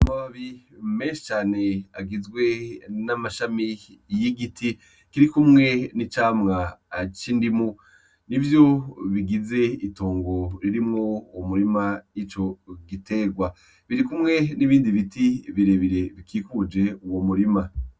Abi mecane agizwe n'amashami y'i giti kiri kumwe n'icamwa aco indimu ni vyo bigize itongo ririmwo uwo murima ico giterwa biri kumwe n'ibindi biti birebire bikikuje uwo murima.